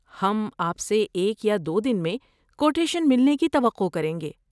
ہم آپ سے ایک یا دو دن میں کوٹیشن ملنے کی توقع کریں گے۔